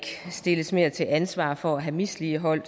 stilles mere til ansvar for have misligholdt